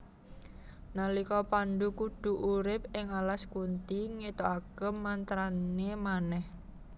Nalika Pandhu kudu urip ing alas Kunthi ngetokake mantrane manèh